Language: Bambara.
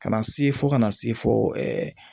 Ka na se fo ka na se fɔ